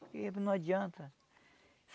Porque não adianta.